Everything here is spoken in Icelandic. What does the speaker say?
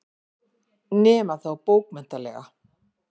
Nema þá bókmenntalega.